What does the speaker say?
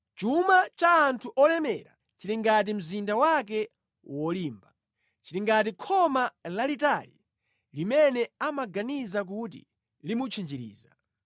Chuma cha anthu olemera chili ngati mzinda wake wolimba; chili ngati khoma lalitali limene amaganiza kuti limutchinjiriza.